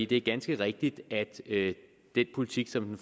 det er ganske rigtigt at den politik som den